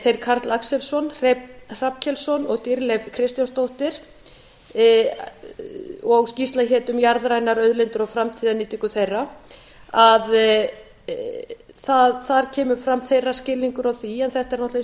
þeir karl axelsson hreinn hrafnkelsson og dýrleif kristjánsdóttir skýrslan hét um jarðrænar auðlindir og framtíðarnýtingu þeirra þar kemur fram að þeirra skilningur á því en þetta er náttúrlega einn og ég